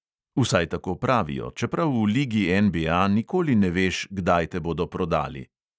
Vsaj tako pravijo, čeprav v ligi NBA nikoli ne veš, kdaj te bodo prodali.